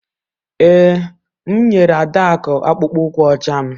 Ee, m nyere Adaku akpụkpọ ụkwụ ọcha m